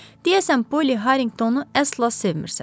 Deyəsən Polly Harringtonu əsla sevmisən.